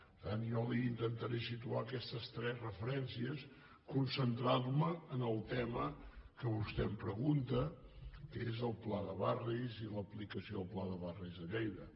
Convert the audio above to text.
per tant jo li intentaré situar aquestes tres referències concentrant me en el tema que vostè em pregunta que és el pla de barris i l’aplicació del pla de barris a lleida